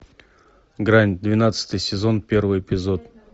грань двенадцатый сезон первый эпизод